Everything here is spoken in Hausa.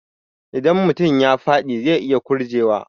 Idan mutum ya faɗi zai iya ƙurje wa